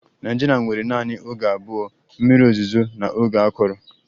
Nigeria nwere naanị oge abụọ, mmiri ozuzo na oge akọrọ